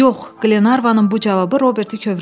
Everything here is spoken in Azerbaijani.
Yox, Qlenarvanın bu cavabı Robert kövrəltdi.